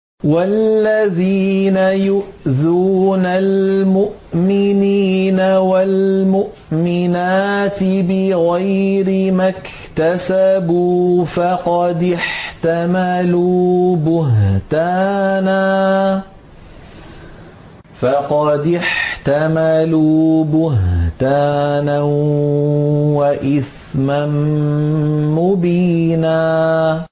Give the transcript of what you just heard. وَالَّذِينَ يُؤْذُونَ الْمُؤْمِنِينَ وَالْمُؤْمِنَاتِ بِغَيْرِ مَا اكْتَسَبُوا فَقَدِ احْتَمَلُوا بُهْتَانًا وَإِثْمًا مُّبِينًا